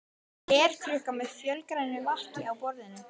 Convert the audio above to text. Glerkrukka með fölgrænu lakki á borðinu.